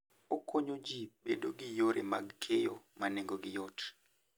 Okonyo ji bedo gi yore mag keyo ma nengogi yot.